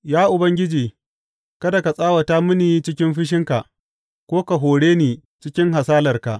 Ya Ubangiji, kada ka tsawata mini cikin fushinka ko ka hore ni cikin hasalarka.